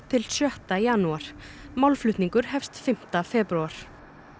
til sjötta janúar málflutningur hefst fimmta febrúar